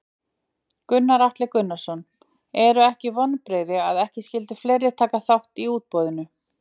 Gunnar Atli Gunnarsson: Eru ekki vonbrigði að ekki skyldu fleiri taka þátt í útboðinu?